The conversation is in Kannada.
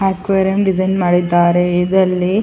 ಅಕ್ವೇರಿಯಂ ಡಿಸೈನ್ ಮಾಡಿದ್ದಾರೆ ಇದ್ರಲ್ಲಿ --